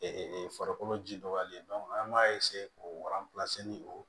farikolo ji dɔgɔyalen an b'a k'o o